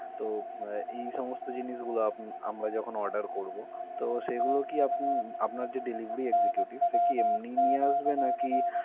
তো উম এই সমস্ত জিনিসগুলো আপ~ আমরা যখন order করব তো সেগুলো কি আপনি~ আপনার যে delivery executive সে কি এমনিই নিয়ে আসবে নাকি.